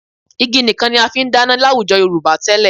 Igi nìkan ni a fi ń dáná láwùjọ Yorùbá tẹ́lẹ̀